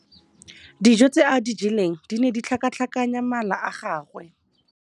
Dijô tse a di jeleng di ne di tlhakatlhakanya mala a gagwe.